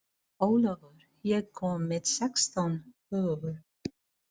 Ólafur, ég kom með sextán húfur!